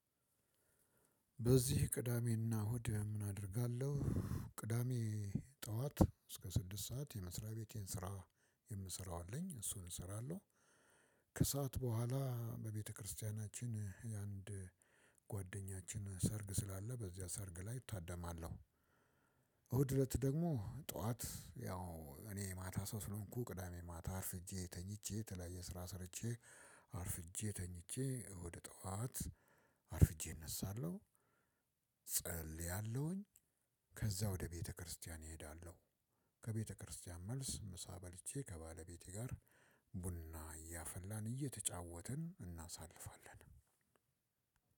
በዚህ ቅዳሜና እሁድ ምን አደርጋለሁ? ቅዳሜ ጠዋት እስከ ስድስት ሰዓት የመስሪያ ቤቴን ስራ የምሰራው አለኝ እሱን እሰራለሁ። ከሰአት በኋላ በቤተክርስቲያናችን የአንድ ጓደኛችን ሰርግ ስላለ በዚያ ሰርግ ላይ እታደማለሁ። እሁድ እለት ደግሞ ጠዋት ያው እኔ የማታ ሰው ስለሆንኩ ቅዳሜ ማታ አርፍጄ ተኝቼ የተለያየ ስራ ሰርቼ አርፍጄ ተኝቼ እሁድ ጠዋት አርፍጄ እነሳለሁ። ጸልያለሁኝ። ከዛ ወደ ቤተክርስቲያን እሄዳለሁ። ከቤተክርስቲያን መልስ ምሳ በልቼ ከባለቤቴ ጋር ቡና እያፈላን እየተጫወትን እናሳልፋለን።